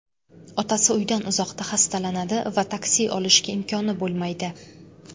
Otasi uydan uzoqda xastalanadi va taksi olishga imkoni bo‘lmaydi.